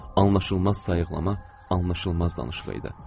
Bu anlaşılmaz sayıqlama, anlaşılmaz danışıq idi.